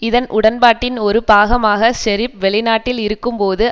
இதன் உடன்பாட்டின் ஒரு பாகமாக ஷெரீப் வெளிநாட்டில் இருக்கும் போது